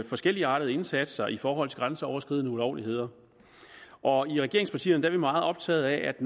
forskelligartede indsatser i forhold til grænseoverskridende ulovligheder og i regeringspartierne er vi meget optaget af at